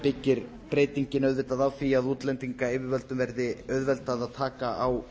byggir breytingin auðvitað á því að útlendingayfirvöldum verði auðveldað að taka á